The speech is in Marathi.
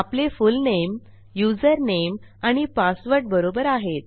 आपले फुलनेम युझरनेम आणि पासवर्ड बरोबर आहेत